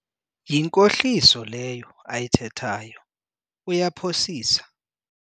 Yinkohliso leyo ayithethayo, uyaphosisa.